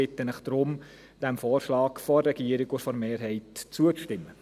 Ich bitte Sie deshalb, dem Vorschlag von Regierung und Mehrheit zuzustimmen.